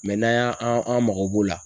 n'an y'an an an mago b'o la